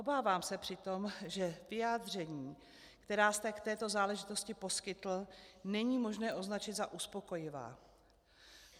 Obávám se přitom, že vyjádření, která jste k této záležitosti poskytl, není možné označit za uspokojivá.